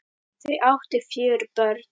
Þau áttu fjögur börn